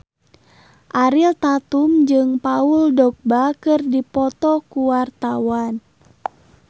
Ariel Tatum jeung Paul Dogba keur dipoto ku wartawan